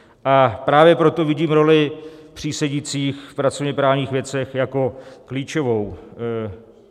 A právě proto vidím roli přísedících v pracovněprávních věcech jako klíčovou.